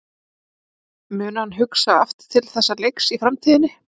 Mun hann hugsa aftur til þessa leiks í framtíðinni?